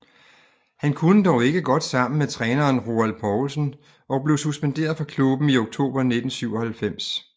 Han kunne dog ikke godt sammen med træneren Roald Poulsen og blev suspenderet fra klubben i oktober 1997